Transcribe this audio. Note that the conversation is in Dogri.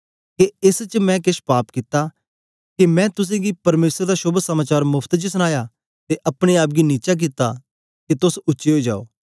के एस च मैं केछ पाप कित्ता के मैं तुसेंगी परमेसर दा शोभ समाचार मोफ्त च सनाया ते अपने आप गी नीचा कित्ता के तोस उच्चे ओई जाओ